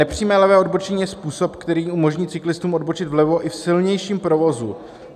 Nepřímé levé odbočení je způsob, který umožní cyklistům odbočit vlevo i v silnějším provozu.